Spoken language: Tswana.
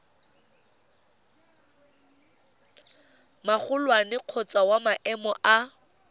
magolwane kgotsa wa maemo a